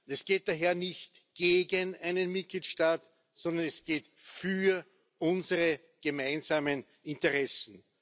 Es geht daher nicht gegen einen Mitgliedstaat, sondern wir kämpfen für unsere gemeinsamen Interessen.